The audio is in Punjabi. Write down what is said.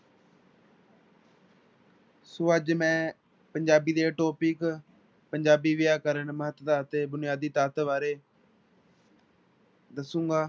ਸੋ ਅੱਜ ਮੈਂ ਪੰਜਾਬੀ ਦੇ topic ਪੰਜਾਬੀ ਵਿਆਕਰਨ ਮਹੱਤਤਾ ਅਤੇ ਬੁਨਿਆਦੀ ਤੱਤ ਬਾਰੇ ਦੱਸਾਂਗਾ।